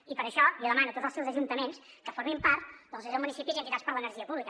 i per això jo demano a tots els seus ajuntaments que formin part de l’associació de municipis i entitats per l’energia pública